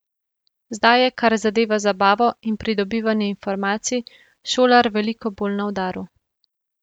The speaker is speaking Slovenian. Zdaj je, kar zadeva zabavo in pridobivanje informacij, šolar veliko bolj na udaru.